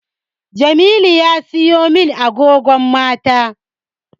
Jamilu ya siya min agogon mata